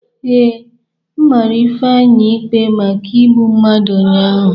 Ee, mara Ifeanyị ikpe maka igbu mmadụ ụnyahụ.